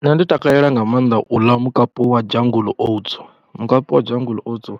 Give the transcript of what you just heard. Nṋe ndi takalela nga maanḓa u ḽa mukapu wa Jungle Oats, mukapu wa Jungle Oats